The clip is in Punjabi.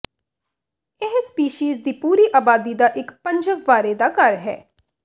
ਇਹ ਸਪੀਸੀਜ਼ ਦੀ ਪੂਰੀ ਆਬਾਦੀ ਦਾ ਇੱਕ ਪੰਜਵ ਬਾਰੇ ਦਾ ਘਰ ਹੈ